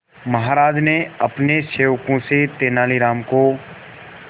महाराज ने अपने सेवकों से तेनालीराम को